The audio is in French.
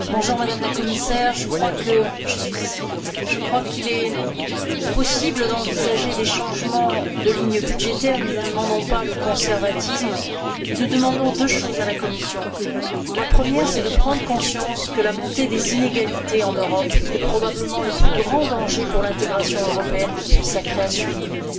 Madame la Présidente, Madame la Commissaire, je crois qu'il est possible d'envisager des changements de ligne budgétaire. Nous ne demandons pas le conservatisme, mais nous demandons deux choses à la Commission. La première, c'est de prendre conscience que la montée des inégalités en Europe est probablement le plus grand danger pour l'intégration européenne depuis la création de l'Union.